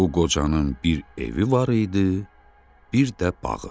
O qocanın bir evi var idi, bir də bağı.